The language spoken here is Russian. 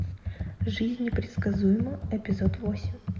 жизнь непредсказуема эпизод восемь